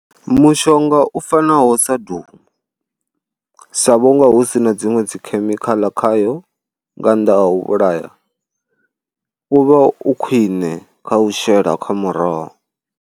Mushonga u fanaho sa Doom, sa vhunga hu si na dziṅwe dzi khemikhaḽa khayo nga nnḓa ha u vhulaya u vha u khwine kha u shela kha muroho.